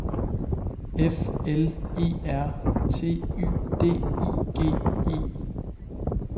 F L E R T Y D I G E